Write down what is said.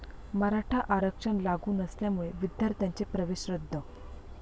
मराठा आरक्षण लागू नसल्यामुळे विद्यार्थ्यांचे प्रवेश रद्द